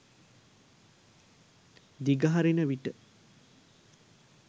දිගහරින විට